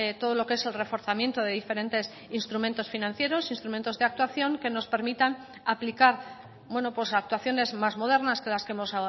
todo lo que es el reforzamiento de diferentes instrumentos financieros instrumentos de actuación que nos permitan aplicar actuaciones más modernas que las que hemos